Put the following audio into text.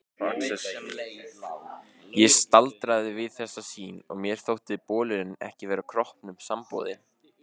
Ég staldraði við þessa sýn og mér þótti bolurinn ekki vera kroppnum samboðinn.